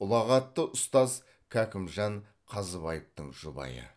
ұлағатты ұстаз кәкімжан қазыбаевтың жұбайы